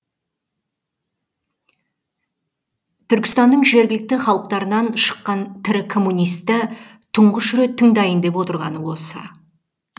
түркістанның жергілікті халықтарынан шыққан тірі коммунисті тұңғыш рет тыңдайын деп отырғаны осы